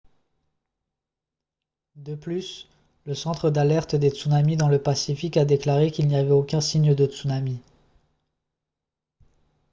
de plus le centre d'alerte des tsunamis dans le pacifique a déclaré qu'il n'y avait aucun signe de tsunami